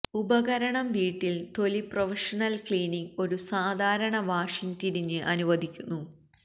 ഉപകരണം വീട്ടിൽ തൊലി പ്രൊഫഷണൽ ക്ലീനിംഗ് ഒരു സാധാരണ വാഷിംഗ് തിരിഞ്ഞ് അനുവദിക്കുന്നു